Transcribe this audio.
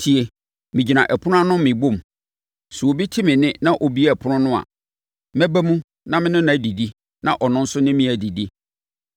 Tie! Megyina ɛpono no akyi rebɔ mu; sɛ obi te me nne na ɔbue ɛpono no a, mɛba mu na me ne no adidi na ɔno nso ne me adidi.